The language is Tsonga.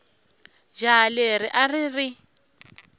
jaha leri a ri ri